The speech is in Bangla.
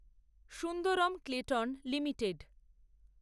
Sundaram Clayton limited